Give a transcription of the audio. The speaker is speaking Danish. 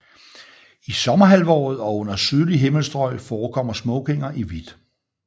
I sommerhalvåret og under sydlige himmelstrøg forekommer smokinger i hvidt